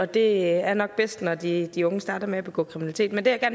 det er nok bedst at det er når de unge starter med at begå kriminalitet men det jeg